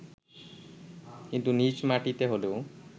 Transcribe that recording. কিন্তু নিজ মাটিতে হলেও